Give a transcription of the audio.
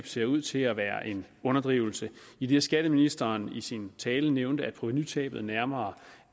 ser ud til at være en underdrivelse idet skatteministeren i sin tale nævnte at provenutabet nærmere